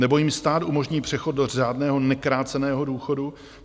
Nebo jim stát umožní přechod do řádného nekráceného důchodu?